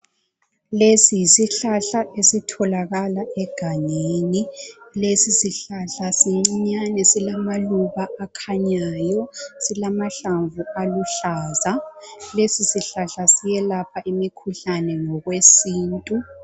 Lesi yisihlahla esitholakala egangeni. Lesisihlahla, sincinyane, silamaluba akhanyayo. Silamahlamvu aluhlaza. Lesisihlahla, siyelapha imikhuhlane, ngokwesintu.